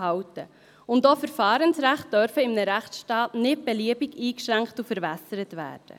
Auch Verfahrensrechte dürfen in einem Rechtsstaat nicht beliebig eingeschränkt und verwässert werden.